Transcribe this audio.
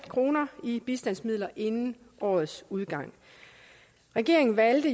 kroner i bistandsmidler inden årets udgang regeringen valgte